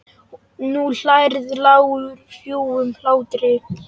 Nú hlærðu, lágum hrjúfum hlátri.